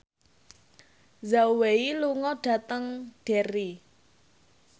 Zhao Wei lunga dhateng Derry